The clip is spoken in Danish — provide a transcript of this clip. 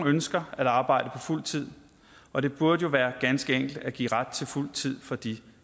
ønsker at arbejde på fuld tid og det burde jo være ganske enkelt at give ret til fuld tid for de